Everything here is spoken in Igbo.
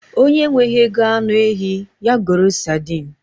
Onye enweghị ego anụ ehi, ya goro sadin